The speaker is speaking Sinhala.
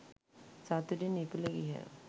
සතුටින් ඉපිල ගියහ.